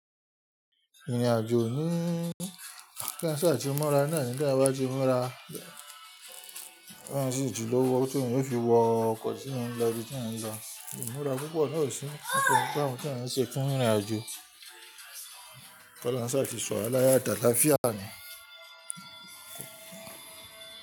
Ìrìnàjò ní kása ti ìmúra náà ni tí àwa bá ti múra kí èyàn sí tí lówó tí èyàn ó fi wọ ọkọ̀ kí èyàn lọ bí tèyàn lọ. Ìmúra púpọ̀ náà sì fún gbámu tí à ń ṣe fún ìrìnàjò. Kọ́lohun sá ti ṣọ̀wa láyọ̀ àti àtàláfíà ni.